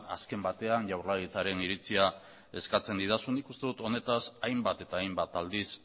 azken batean jaurlaritzaren iritzia eskatzen didazu nik uste dut honetaz hainbat eta hainbat aldiz